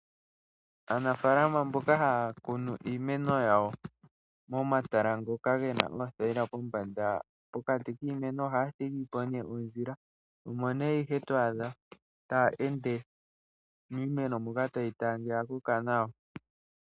Aanafaalama mboka haya kunu iimeno yawo momatala ngoka ge na omathayila pombanda, pokati kiimeno ohaya thigi po ondjila. Omo ihe to adha taya ende miimeno moka taye yi tala ngele oya koka nawa.